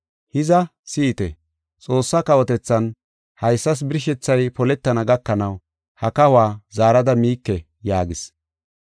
Hiza, si7ite! Xoossaa kawotethan haysas birshethay poletana gakanaw ha kahuwa zaarada miike” yaagis.